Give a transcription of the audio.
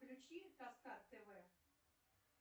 включи каскад тв